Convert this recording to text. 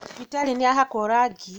Thibitarĩ nĩyahakwo rangi